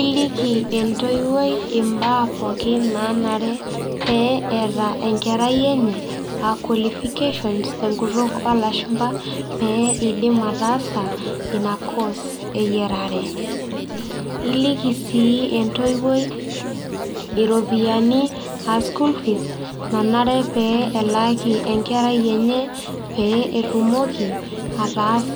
Iliki entoiwuoi imbaa pookin nanare pee eeta enkerai enye, ah qualifications tenkutuk olashumpa, pee idim ataasa ina course eyiarare. Iliki si entoiwuoi iropiyiani ah school fees, nanare pee elaaki enkerai enye, pee etumoki ataas